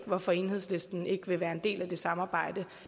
hvorfor enhedslisten ikke vil være en del af det samarbejde